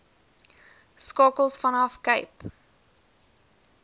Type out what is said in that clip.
skakels vanaf cape